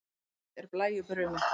Blítt er blæju brumið.